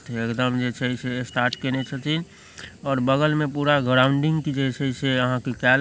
एकदम जे छै से स्टार्ट केने छथी और बगल में पूरा ग्रावुन्डिंग के जैसे छै केल ---